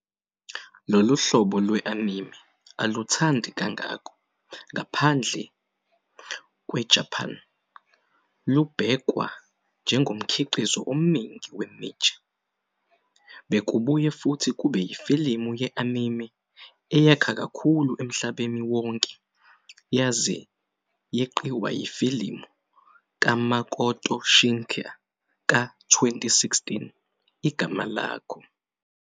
Lolu hlobo lwe-anime aluthandi kangako ngaphandle kweJapan, lubhekwa "njengomkhiqizo omningi we- niche". Bekubuye futhi kube yifilimu ye-anime eyakha kakhulu emhlabeni wonke yaze yeqiwa yifilimu kaMakoto Shinkai ka-2016 "Igama Lakho".